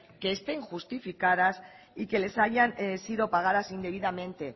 que estén justificadas y que les hayan sido pagadas indebidamente